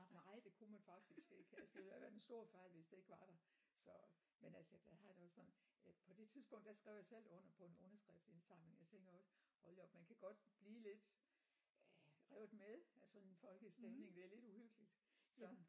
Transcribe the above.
Nej det kunne man faktisk ikke altså det ville da være en stor fejl hvis det ikke var der så men altså der har jeg det også sådan at på det tidspunkt der skrev jeg selv under på en underskriftsindsamling jeg tænker også hold da op man kan godt blive lidt øh revet med af sådan en folkestemning det er lidt uhyggeligt sådan